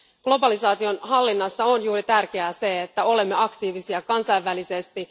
Globalisaation hallinnassa on tärkeää se, että olemme aktiivisia kansainvälisesti.